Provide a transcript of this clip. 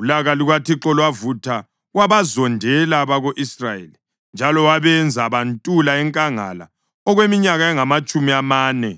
Ulaka lukaThixo lwavutha wabazondela abako-Israyeli njalo wabenza bantula enkangala okweminyaka engamatshumi amane,